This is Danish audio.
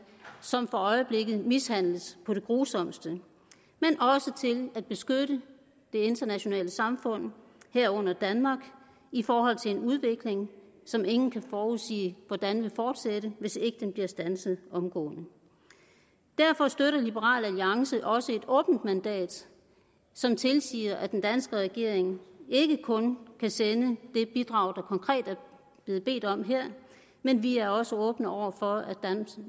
som for øjeblikket mishandles på det grusomste men også til at beskytte det internationale samfund herunder danmark i forhold til en udvikling som ingen kan forudsige hvordan vil fortsætte hvis ikke den bliver standset omgående derfor støtter liberal alliance også et åbent mandat som tilsiger at den danske regering ikke kun kan sende det bidrag der konkret er blevet bedt om her men vi er også åbne over for